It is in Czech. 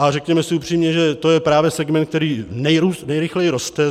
A řekněme si upřímně, že to je právě segment, který nejrychleji roste.